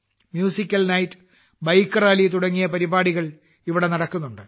musical night bike rally തുടങ്ങിയ പരിപാടികൾ ഇവിടെ നടക്കുന്നുണ്ട്